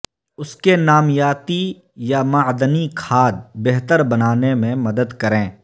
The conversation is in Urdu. اس کے نامیاتی یا معدنی کھاد بہتر بنانے میں مدد کریں